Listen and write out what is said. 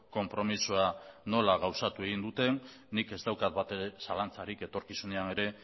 konpromisoa nola gauzatu egin duten nik ez daukat batere zalantzarik etorkizunean ere